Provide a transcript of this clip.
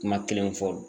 Kuma kelen fɔ